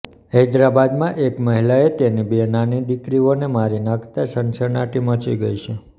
હૈદરાબાદમાં એક મહિલાએ તેની બે નાની દીકરીઓને મારી નાંખતા સનસનાટી મચી ગઈ છે